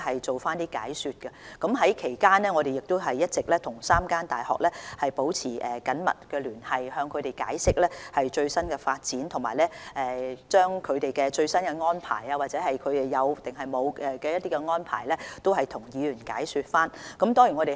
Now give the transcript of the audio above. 在此期間，我們一直與3間大學保持緊密聯繫，向他們解釋最新的發展情況，以及了解大學是否有任何新安排，並向議員解說它們的最新安排。